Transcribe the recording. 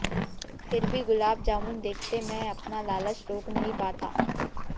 फिर भी गुलाब जामुन देखते मैं अपना लालच रोक नहीं पाता